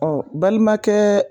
Ɔ balimakɛɛ